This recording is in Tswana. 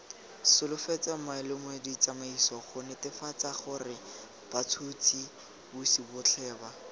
solofetsweng maemoleditsamaiso gonetefatsagorebats huts hisibotlheba